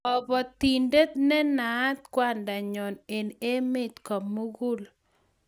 kabotindet ne naat kwanda nyo eng' emet ko mugul